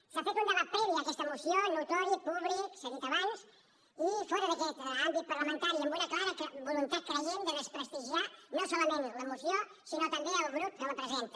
s’ha fet un debat previ a aquesta moció notori públic s’ha dit abans i fora d’aquest àmbit parlamentari amb una clara voluntat creiem de desprestigiar no solament la moció sinó també el grup que la presenta